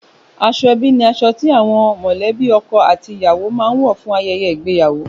Aṣọ ẹbí ni aṣọ ti àwọn mọ̀lẹ́bí ọkọ àti ìyàwó máa ń wọ fún ayẹyẹ ìgbéyàwó